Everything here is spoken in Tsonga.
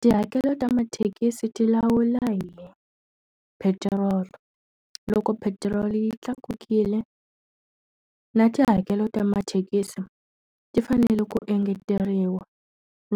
Tihakelo ta mathekisi ti lawula hi petiroli. Loko petiroli yi tlakukile, na tihakelo ta mathekisi ti fanele ku engeteriwa.